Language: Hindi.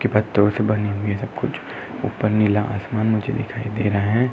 सबकुछ। ऊपर नीला आसमान मुझे दिखाई दे रहा है।